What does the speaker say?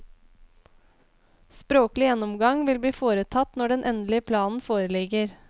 Språklig gjennomgang vil bli foretatt når den endelige planen foreligger.